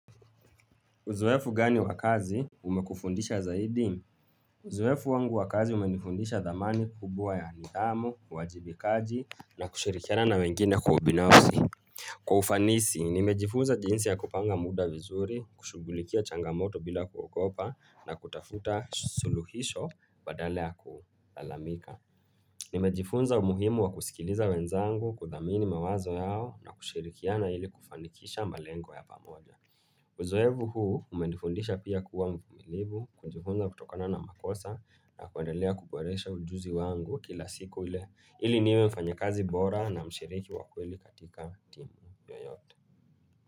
Uzoefu gani wakazi umekufundisha zaidi? Uzoefu wangu wakazi umenifundisha dhamani kubwa ya nidhamu, wajibikaji na kushirikiana na wengine ubinafsi. Kwa ufanisi, nimejifunza jinsi ya kupanga muda vizuri, kushugulikia changamoto bila kuokopa na kutafuta suluhisho badale ya kulalamika. Nimejifunza umuhimu wa kusikiliza wenzangu kuthamini mawazo yao na kushirikiana ili kufanikisha malengo ya pamoja. Uzoevu huu umendifundisha pia kuwa mvumilivu kujifunza kutokana na makosa na kuandalea kuporesha ujuzi wangu kila siku ile ili niwe mfanya kazi bora na mshiriki wakweli katika timu yoyote.